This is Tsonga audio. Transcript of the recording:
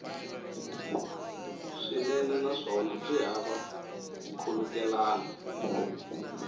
swinene naswona byi hava nkhulukelano